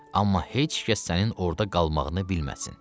Amma heç kəs sənin orada qalmağını bilməsin.